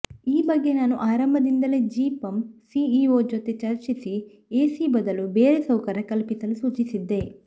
ಈ ಬಗ್ಗೆ ನಾನು ಆರಂಭದಲ್ಲೇ ಜಿಪಂ ಸಿಇಒ ಜೊತೆ ಚರ್ಚಿಸಿ ಎಸಿ ಬದಲು ಬೇರೆ ಸೌಕರ್ಯ ಕಲ್ಪಿಸಲು ಸೂಚಿಸಿದ್ದೆ